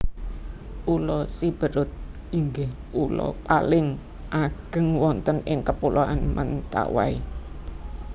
Pulo Sibérut inggih pulo paling ageng wonten ing Kapuloan Mentawai